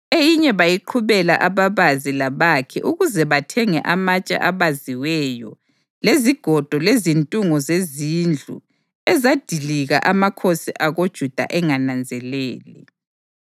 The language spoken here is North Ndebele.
Eyinye bayiqhubela ababazi labakhi ukuze bathenge amatshe abaziweyo lezigodo lezintungo zezindlu ezadilika amakhosi akoJuda engananzelele.